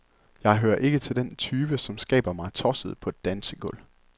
Jeg hører ikke til den type, som skaber mig tosset på et dansegulv.